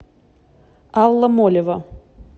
алла молева